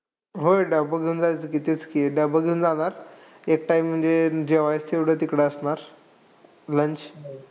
होय डबा घेऊन जायचो की. तेच की. डबा घेऊन जाणार. एक time म्हणजे जेवायला तेवढं तिकडं असणार. Lunch.